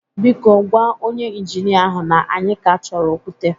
Biko, gwa onye injinia ahụ na anyị ka achọrọ okwute